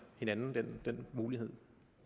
hinanden den mulighed